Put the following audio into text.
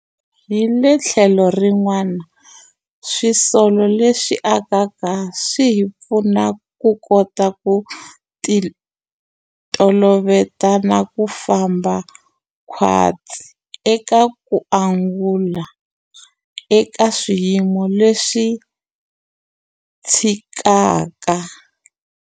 Hi le tlhelo rin'wana, swisolo leswi akaka swi hi pfuna ku kota ku titoloveta na ku famba khwatsi eka ku angula eka swiyimo leswi cincaka.